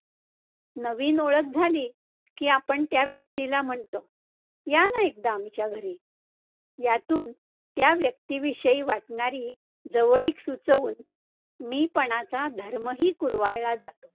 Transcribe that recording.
नवीन ओळख झाली, की आपण त्या व्यक्तीला म्हणतो, या ना एकदा आमच्या घरी यातून त्या व्यक्तीविषयी वाटणारी जवळीक सुचवून मी पणाचा धर्मही कुरवाळला जातो.